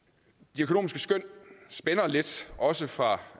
de økonomiske skøn spænder vidt også fra